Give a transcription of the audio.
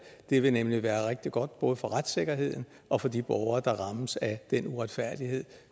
det ville nemlig være rigtig godt både for retssikkerheden og for de borgere der rammes af den uretfærdighed